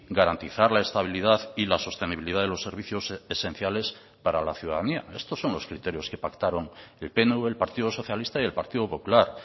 garantizar la estabilidad y la sostenibilidad de los servicios esenciales para la ciudadanía estos son los criterios que pactaron el pnv el partido socialista y el partido popular